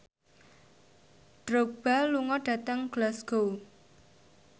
Drogba lunga dhateng Glasgow